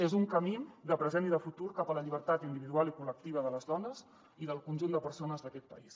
és un camí de present i de futur cap a la llibertat individual i col·lectiva de les dones i del conjunt de persones d’aquest país